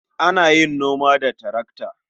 Ana yin noma da tarakta.